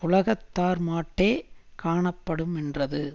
உலகத்தார்மாட்டே காணப்படுமென்றது